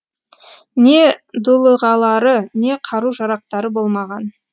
не дулығалары не қару жарақтары болмаған